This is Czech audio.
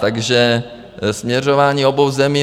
Takže směřování obou zemí.